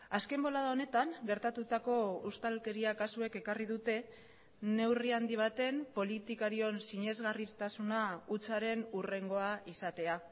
azken bolada honetan gertatutako ustelkeria kasuek ekarri dute neurri handi baten politikarion sinesgarritasuna hutsaren hurrengoa izatea